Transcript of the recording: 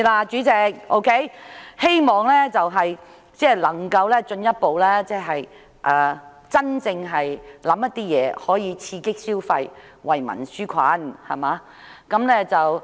主席，我希望政府能進一步考慮推出一些政策，從而刺激消費，為民紓困。